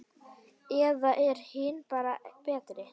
Eða eru hinir bara betri?